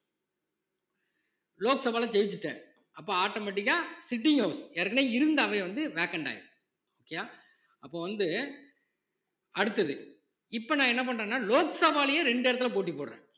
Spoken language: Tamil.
லோக்சபால ஜெயிச்சிட்டேன் அப்ப automatic ஆ sitting ஆகும் ஏற்கனவே இருந்த அவை வந்து vacant ஆயிரும் okay யா அப்ப வந்து அடுத்தது இப்ப நான் என்ன பண்றேன்னா லோக்சபாலயே ரெண்டு இடத்துல போட்டி போடுறேன்